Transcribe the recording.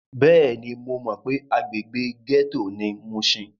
Bẹ́ẹ̀ni, mo mọ pé agbègbè gẹ́tò ni mushin.